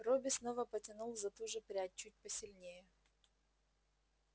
робби снова потянул за ту же прядь чуть посильнее